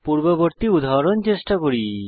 পূর্ববর্তী উদাহরণ চেষ্টা করি